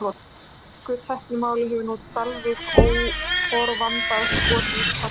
Í ensku tæknimáli hefur nú Dalvík óforvarandis skotið upp kollinum.